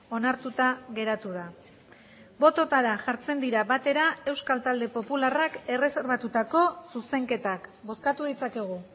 onartuta geratu da bototara jartzen dira batera euskal talde popularrak erreserbatutako zuzenketak bozkatu ditzakegu